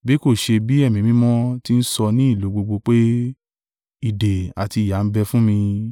Bí kò ṣe bí Ẹ̀mí Mímọ́ tí ń sọ ní ìlú gbogbo pé, ìdè àti ìyà ń bẹ fún mi.